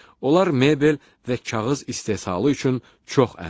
Onlar mebel və kağız istehsalı üçün çox əhəmiyyətlidir.